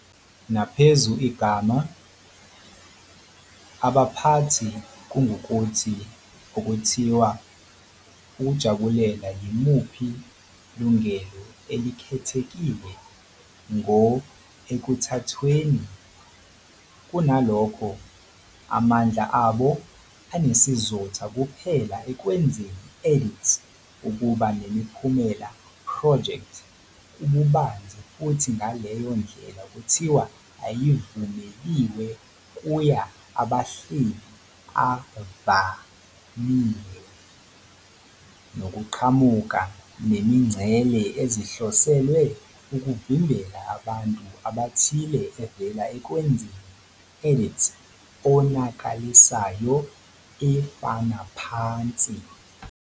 Naphezu igama, abaphathi kungukuthi okuthiwa ukujabulela yimuphi lungelo elikhethekile ngo ekuthathweni, kunalokho, amandla abo anesizotha kuphela ekwenzeni edits ukuba nemiphumela project-ububanzi futhi ngaleyo ndlela kuthiwa Ayivumeliwe kuya abahleli avamile, nokuqhamuka nemingcele ezihloselwe ukuvimbela abantu abathile evela ekwenzeni edits onakalisayo, efana phansi.